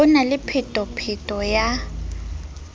ho na le phetapheto ya